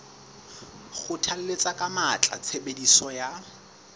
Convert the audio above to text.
kgothalletsa ka matla tshebediso ya